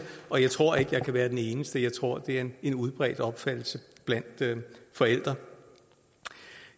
og jeg tror ikke jeg kan være den eneste jeg tror det er en udbredt opfattelse blandt forældre